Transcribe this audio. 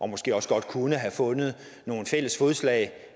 måske også godt kunne have fundet noget fælles fodslag